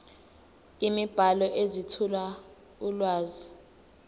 imibhalo ezethula ulwazi